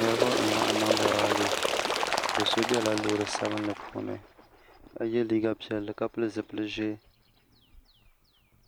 Niriba n-laɣim niŋdi raali do so bela loori sabinli puuni ka ye liiga piɛlli ka pili zipili ʒee